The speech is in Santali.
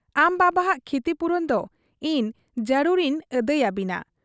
ᱟᱢ ᱵᱟᱵᱟᱦᱟᱜ ᱠᱷᱤᱛᱤᱯᱩᱨᱚᱱ ᱫᱚ ᱤᱧ ᱡᱟᱹᱨᱩᱲ ᱤᱧ ᱟᱹᱫᱟᱹᱭ ᱟᱹᱵᱤᱱᱟ ᱾